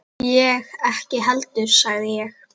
Ég ekki heldur sagði ég.